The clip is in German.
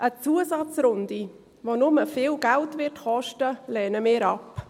Eine Zusatzrunde, die nur viel Geld kosten wird, lehnen wir ab.